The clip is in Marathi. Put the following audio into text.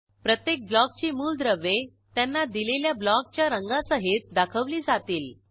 प्रत्येक ब्लॉकची मूलद्रव्ये त्यांना दिलेल्या ब्लॉकच्या रंगांसहित दाखवली जातील